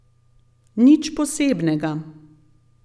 Nič posebnega.